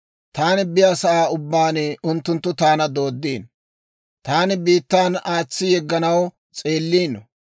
Taani biyaasa'aa ubbaan unttunttu taana dooddiino. Taana biittan aatsi yegganaw s'eelliino.